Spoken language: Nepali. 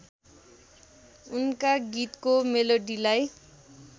उनका गीतको मेलोडीलाई